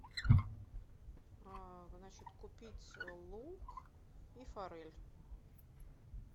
значит купить лук и форель